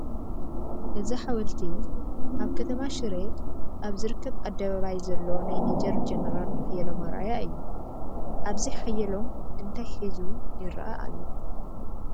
እዚ ሓወልቲ ኣብ ከተማ ሽረ ኣብ ዝርከብ ኣደባባይ ዘሎ ናይ ሜጀር ጄነራል ሓየሎም ኣርኣያ እዩ፡፡ ኣብዚ ሓየሎም እንታይ ሒዙ ይርአ ኣሎ?